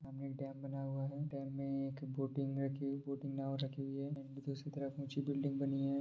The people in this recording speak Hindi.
सामने एक डैम बना हुआ है डैम में एक बोटिंग रखी हुई है बोटिंग नाव रखी हुई है उसके दूसरी तरफ ऊँची बिल्डिंग बनी हुई है।